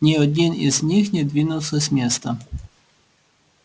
ни один из них не двинулся с места